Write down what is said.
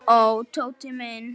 Ó, ó, Tóti minn.